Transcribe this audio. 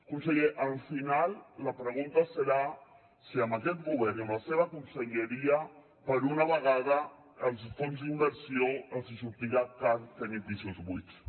conseller al final la pregunta serà si amb aquest govern i amb la seva conselleria per una vegada als fons d’inversió els hi sortirà car tenir pisos buits